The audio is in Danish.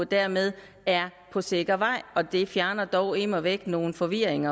dermed er på sikker vej og det fjerner dog immer væk noget forvirring